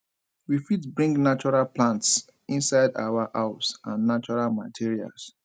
we fit bring natural plants inside our house and natural materials